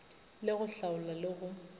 le go hlaola le go